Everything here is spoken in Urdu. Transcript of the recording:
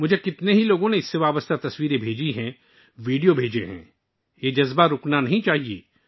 بہت سے لوگوں نے مجھے اس سے متعلق تصاویر اور ویڈیوز بھیجی ہیں یہ جذبہ ماند نہیں پڑنا چاہیے